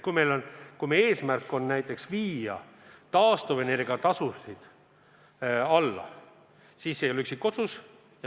Kui meie eesmärk on viia taastuvenergia tasud alla, siis see ei ole üksikotsus.